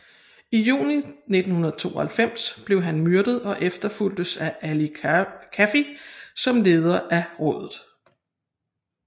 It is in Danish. I juni 1992 blev han myrdet og efterfulgtes af Ali Kafi som leder af rådet